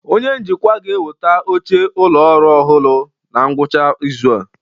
Onye njikwa ga-eweta oche ụlọ ọrụ ọhụrụ na ngwụcha izu a